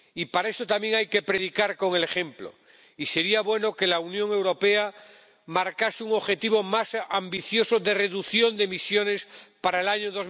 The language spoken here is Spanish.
Para eso también hay que predicar con el ejemplo, y sería bueno que la Unión Europea marcase un objetivo más ambicioso de reducción de emisiones para el año